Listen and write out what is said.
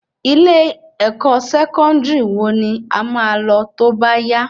Ilé-ẹkọ Sẹkọndiri wo ni ẹ má lọ tóbá yá?